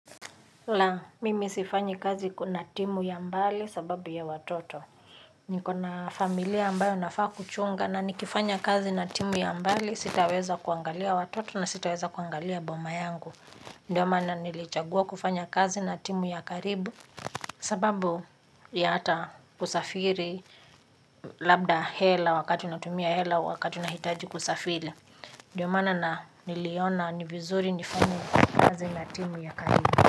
La, mimi sifanyi kazi kuna timu ya mbali sababu ya watoto. Niko na familia ambayo nafaa kuchunga na nikifanya kazi na timu ya mbali sitaweza kuangalia watoto na sitaweza kuangalia boma yangu. Ndio maana nilichagua kufanya kazi na timu ya karibu sababu ya hata kusafiri. Labda hela wakati unatumia hela wakati unahitaji kusafiri. Ndio mana na niliona ni vizuri nifanye kazi na timu ya karibu.